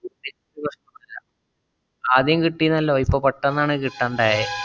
ആദ്യം കിട്ടീനല്ലോ ഇപ്പൊ പെട്ടെന്നാണ് കിട്ടാണ്ടായേ.